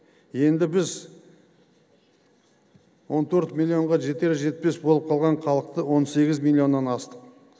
енді біз он төрт миллионға жетер жетпес болып қалған халықты он сегіз миллионнан астық